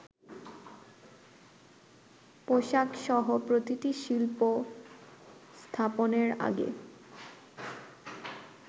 পোশাকসহ প্রতিটি শিল্প স্থাপনের আগে